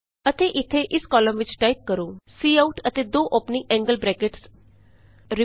ਅਤੇ ਇਥੇ ਇਸ ਕਾਲਮ ਵਿਚ ਟਾਈਪ ਕਰੋ ਸੀਆਉਟ ਅਤੇ ਦੋ ਔਪਨਿੰਗ ਐਂਗਲ ਬਰੈਕਟਸ ਐਲਟੀਐਲਟੀ